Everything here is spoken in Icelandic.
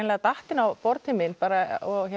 datt inn á borð til mín og